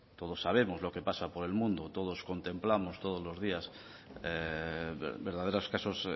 todos sabemos lo que pasa por el mundo todos contemplamos todos los días verdaderos casos